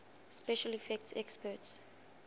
special effects experts